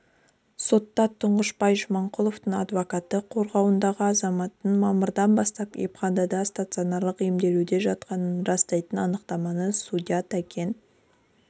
сотта тұңғышбай жаманқұловтың авдокаты қорғауындағы азаматтың мамырдан бастап емханада станционарлық емделуде жатқанын растайтын анықтаманы судья тәкен